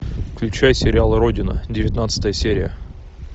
включай сериал родина девятнадцатая серия